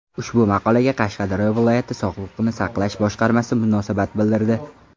Ushbu maqolaga Qashqadaryo viloyat sog‘liqni saqlash boshqarmasi munosabat bildirdi.